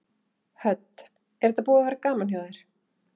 Hödd: Er þetta búið að vera gaman hjá þér?